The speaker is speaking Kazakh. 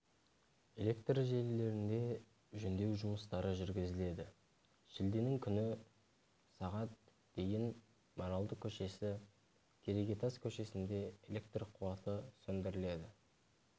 электр желілерінде жөндеу жұмыстары жүргізіледі шілденің күні сағат дейін маралды көшесі керегетас көшесінде электр қуаты сөндіріледі